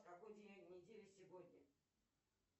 какой день недели сегодня